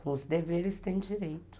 Com os deveres tem direito.